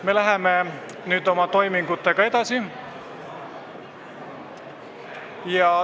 Me läheme nüüd oma toimingutega edasi.